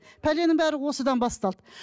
пәленің бәрі осыдан басталды